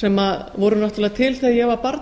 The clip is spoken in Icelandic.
sem voru náttúrulega til þegar ég var barn og